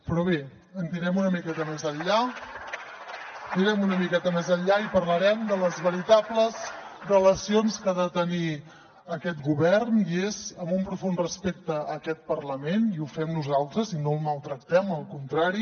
però bé anirem una miqueta més enllà anirem una miqueta més enllà i parlarem de les veritables relacions que ha de tenir aquest govern i és amb un profund respecte a aquest parlament i ho fem nosaltres i no el maltractem al contrari